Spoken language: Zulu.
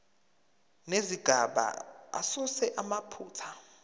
nezigaba asuse amaphutha